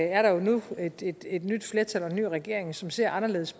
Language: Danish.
er der jo nu et et nyt flertal og en ny regering som ser anderledes